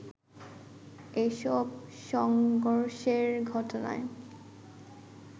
এসব সংঘর্ষের ঘটনায়